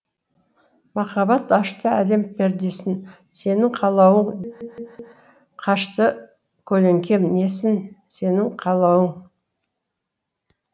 махаббат ашты әлем пердесін сенің қалауың қашты көлеңкем несін сенің қалауың